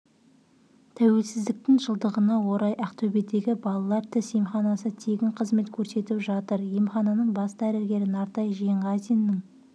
тәуелсіздіктің жылдығына орай ақтөбедегі балалар тіс емханасы тегін қызмет көрсетіп жатыр емхананың бас дәрігері нартай жиенғазиннің